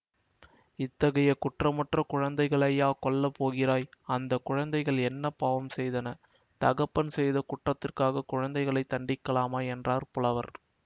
இத்தகைய குற்றமற்ற குழந்தைகளையா கொல்ல போகிறாய் அந்த குழந்தைகள் என்ன பாவம் செய்தன தகப்பன் செய்த குற்றத்துக்காகக் குழந்தைகளைத் தண்டிக்கலாமா என்றார் புலவர்